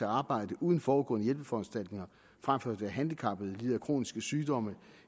arbejde uden forudgående hjælpeforanstaltninger frem for at være handicappet lide af kroniske sygdomme